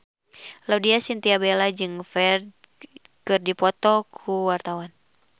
Laudya Chintya Bella jeung Ferdge keur dipoto ku wartawan